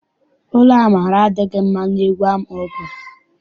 Olu Amara adịghị mma n'egwu ahụ ọ gụrụ.